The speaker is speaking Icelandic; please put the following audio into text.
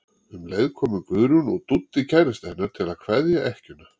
Um leið komu Guðrún og Dúddi kærastinn hennar til að kveðja ekkjuna.